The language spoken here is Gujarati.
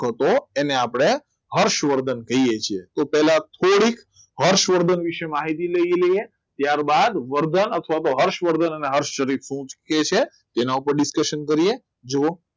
તો એને આપણે હર્ષવર્ધન કહીએ છીએ તો પહેલા થોડીક હર્ષવર્ધનની વિશે માહિતી લઇ લીધી ત્યારબાદ વર્ધન અથવા તો હર્ષવર્ધન અને હર્ષ શ્રી કહે છે તેના ઉપર declaration કર્યું